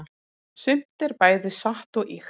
sumt er bæði satt og ýkt